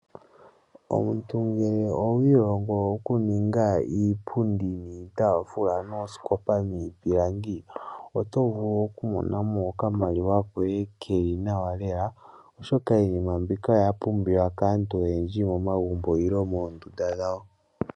Omuntu ngele owiilongo okuninga iipundi niitaafula noosikopa niipilangi oto vulu okumonamo okamaliwa koye keli nawa lela oshoka iinima mbika oya pumbiwa kaantu oyendji momagumbo nenge moondunda dhawo.